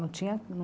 Não tinha